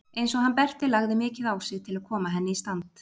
Eins og hann Berti lagði mikið á sig til að koma henni í stand.